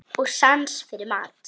Og sans fyrir mat.